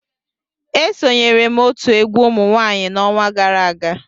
Esonyere m otu egwu umunwanyị n'ọnwa gara aga